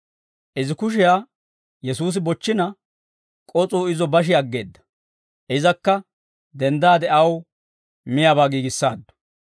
Izi kushiyaa Yesuusi bochchina, k'os'uu izo bashi aggeedda; izakka denddaade aw miyaabaa giigissaaddu.